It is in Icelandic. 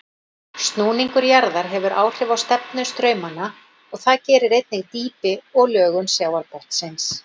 Snúningur jarðar hefur áhrif á stefnu straumanna og það gerir einnig dýpi og lögun sjávarbotnsins.